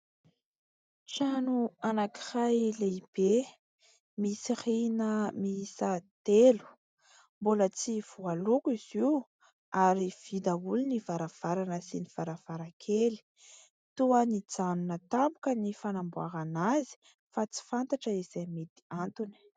Trano anankiray lehibe misy rihana miisa telo, mbola tsy voaloko izy io ary vy daholo varavarana sy varavarankely. Toa nijanona tampoka ny fanamboarana azy fa tsy fantatra izay mety antony.